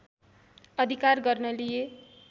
अधिकार गर्न लिए